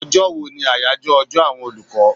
Ọjọ́ wo ni àyájọ́ ọjọ́ àwọn olùkọ́?